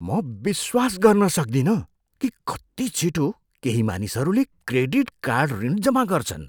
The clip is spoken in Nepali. म विश्वास गर्न सक्दिनँ कि कति छिटो केही मानिसहरूले क्रेडिट कार्ड ऋण जम्मा गर्छन्।